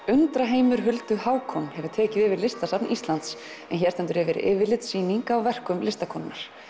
undraheimur Huldu Hákon hefur tekið yfir Listasafn Íslands en hér stendur yfir yfirlitssýning á verkum listakonunnar